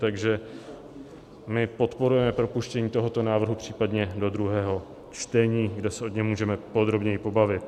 Takže my podporujeme propuštění tohoto návrhu případně do druhého čtení, kde se o něm můžeme podrobněji pobavit.